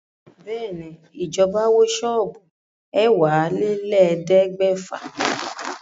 Bẹ́ẹ̀ ni, ìjọba wó ṣọ́ọ́bù ẹ̀wálélẹ̀ẹ́dẹ́gbèfà